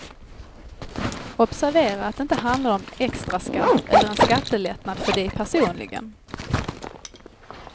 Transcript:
Observera att det inte handlar om extraskatt eller en skattelättnad för dig personligen.